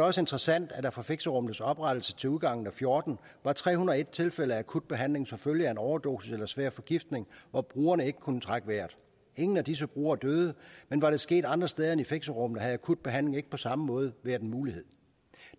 også interessant at der fra fixerummenes oprettelse til udgangen og fjorten var tre hundrede og en tilfælde af akut behandling som følge af en overdosis eller svær forgiftning hvor brugerne ikke kunne trække vejret ingen af disse brugere døde men var det sket andre steder end i fixerummene havde akut behandling ikke på samme måde været en mulighed